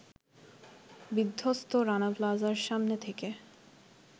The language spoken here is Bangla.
বিধ্বস্ত রানা প্লাজার সামনে থেকে